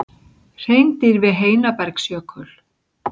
Hreindýr við Heinabergsjökul.